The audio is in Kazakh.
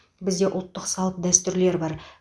бізде ұлттық салт дәстүрлер бар